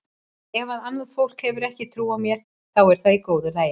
Ef að annað fólk hefur ekki trú á mér þá er það í góðu lagi.